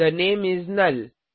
थे नामे इस नुल